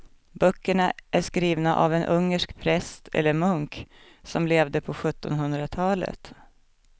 Böckerna är skrivna av en ungersk präst eller munk som levde på sjuttonhundratalet.